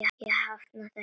Ég hafnaði þessu.